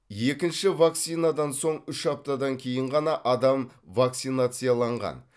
екінші вакцинациядан соң үш аптадан кейін ғана адам вакцинацияланған